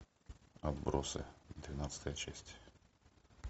отбросы двенадцатая часть